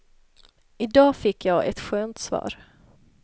Idag fick jag ett skönt svar.